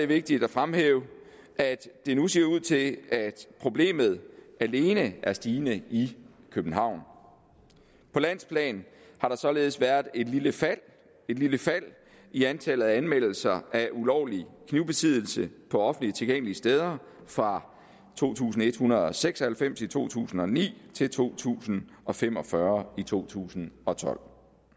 vigtigt at fremhæve at det nu ser ud til at problemet alene er stigende i københavn på landsplan har der således været et lille fald et lille fald i antallet af anmeldelser af ulovlig knivbesiddelse på offentligt tilgængelige steder fra to tusind en hundrede og seks og halvfems i to tusind og ni til to tusind og fem og fyrre i to tusind og tolv